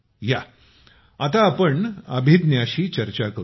या आता अभिज्ञाशी आपण चर्चा करू या